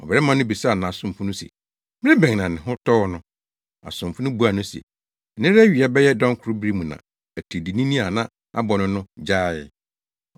Ɔbarima no bisaa nʼasomfo no se, “Bere bɛn na ne ho tɔɔ no?” Asomfo no buaa no se, “Nnɛra awia bɛyɛ dɔnkoro bere mu na atiridiinini a na abɔ no no gyaee.”